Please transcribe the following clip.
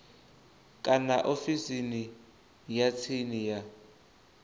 kana ofisini ya tsini ya